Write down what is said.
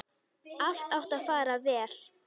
Allt átti að fara vel.